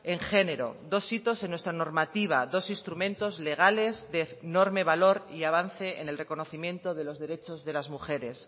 en género dos hitos en nuestra normativa dos instrumentos legales de enorme valor y avance en el reconocimiento de los derechos de las mujeres